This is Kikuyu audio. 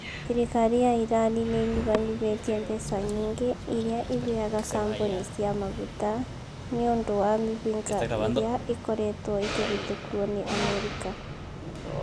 Thirikari ya Irani nĩ ĩnyihanyihĩtie mbeca nyingĩ iria ĩheaga kambuni cia maguta nĩ ũndũ wa mĩhĩnga ĩrĩa ĩkoretwo ĩkĩhĩtũkwo nĩ Amerika.